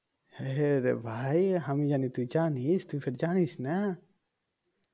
হ্যাঁ রে ভাই আমি জানি তুই জানিস তুই ফের জানিস না